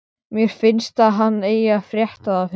Mér finnst að hann eigi að frétta það fyrst.